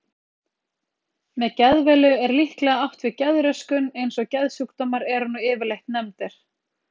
Með geðveilu er líklega átt við geðröskun eins og geðsjúkdómar eru nú yfirleitt nefndir.